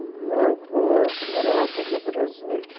O meu avô morou aqui no Brasil.